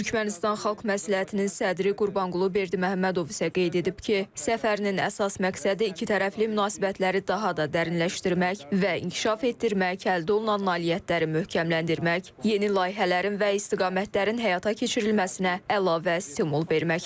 Türkmənistan Xalq Məsləhətinin sədri Qurbanqulu Berdiməhəmmədov isə qeyd edib ki, səfərin əsas məqsədi ikitərəfli münasibətləri daha da dərinləşdirmək və inkişaf etdirmək, əldə olunan nailiyyətləri möhkəmləndirmək, yeni layihələrin və istiqamətlərin həyata keçirilməsinə əlavə stimul verməkdir.